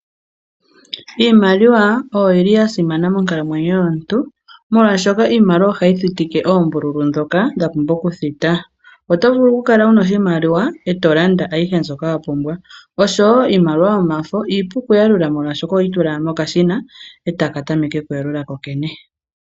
Iimaliwa oya simana monkalamwenyo yomuntu, molwaashoka iimaliwa ohayi thitike oombululu ndhoka dha pumbwa okuthita. Oto vulu okukala wu na oshimaliwa e to landa ayihe mbyoka wa pumbwa. Iimaliwa yomafo iipu okuyalula, oshoka ohoyi tula owala mokashina e taka tameke okuyalula kokene.